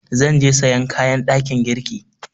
Zan je sayan kayan ɗakin girki.